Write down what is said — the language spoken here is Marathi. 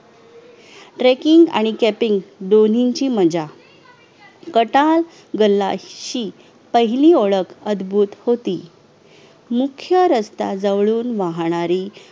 teacking आणि caping दोन्हीची मज्या कटास गलशी पहिली ओळख अदभूत होती मुख्य रस्ता जवळून वाहणारी